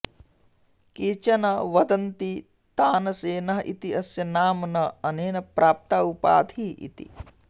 केचन वदन्ति तनसेनः इति अस्य नाम न अनेन प्राप्ता उपाधिः इति